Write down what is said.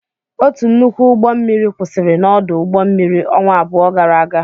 Otu nnukwu ụgbọ mmiri kwụsịrị n'ọdụ ụgbọ mmiri ọnwa abụọ gara aga.